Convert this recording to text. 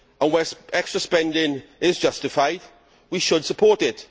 When extra spending is justified, we should support it.